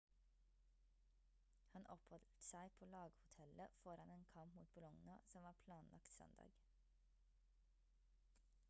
han oppholdt seg på laghotellet foran en kamp mot bologna som var planlagt søndag